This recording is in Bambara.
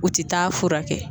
U tɛ taa fura kɛ